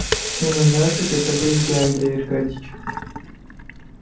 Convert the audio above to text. ну на наших это вы зря андрей аркадьич